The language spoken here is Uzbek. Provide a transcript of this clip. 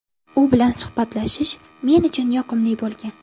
U bilan suhbatlashish men uchun yoqimli bo‘lgan.